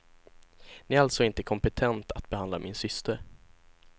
Ni är alltså inte kompetent att behandla min syster.